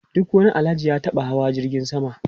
Duk wani Alhaji ya taba hawa jirgin sama.